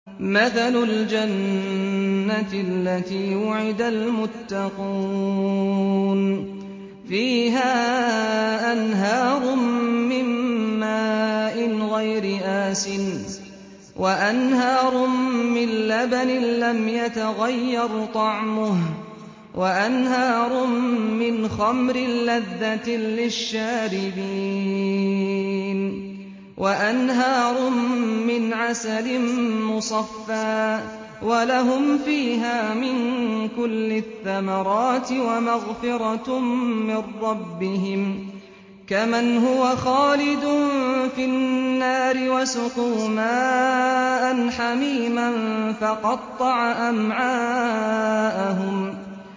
مَّثَلُ الْجَنَّةِ الَّتِي وُعِدَ الْمُتَّقُونَ ۖ فِيهَا أَنْهَارٌ مِّن مَّاءٍ غَيْرِ آسِنٍ وَأَنْهَارٌ مِّن لَّبَنٍ لَّمْ يَتَغَيَّرْ طَعْمُهُ وَأَنْهَارٌ مِّنْ خَمْرٍ لَّذَّةٍ لِّلشَّارِبِينَ وَأَنْهَارٌ مِّنْ عَسَلٍ مُّصَفًّى ۖ وَلَهُمْ فِيهَا مِن كُلِّ الثَّمَرَاتِ وَمَغْفِرَةٌ مِّن رَّبِّهِمْ ۖ كَمَنْ هُوَ خَالِدٌ فِي النَّارِ وَسُقُوا مَاءً حَمِيمًا فَقَطَّعَ أَمْعَاءَهُمْ